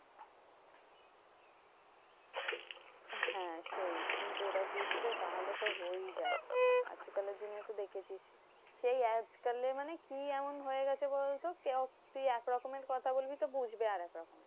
হ্যাঁ সেই কিন্তু ওরা বুঝবে? তাহলে তো হয়েই যায়। আজকালের দিনে তো দেখেছিস? সেই আজকাল মানে কি এমন হয়ে গেছে বলতো কেউ তুই একরকমের কথা বলবি তো বুঝবে আরেকরকম।